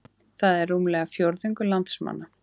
Það er rúmlega fjórðungur landsmanna